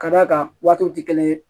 Ka d'a kan waatiw tɛ kelen ye